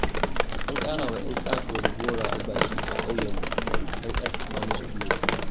An ƙarawa 'yan ƙato da gora albashi a ƙauyenmu don ƙarfafa musu guiwa.